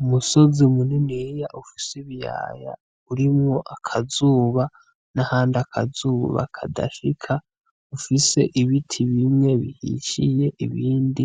Umusozi muniniya ufise ibiyaya urimwo akazuba n'ahandi akazuba kadashika, ufise ibiti bimwe bihishiye ibindi